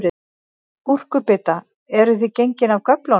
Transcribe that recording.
Gúrkubita, eruð þið gengin af göflunum?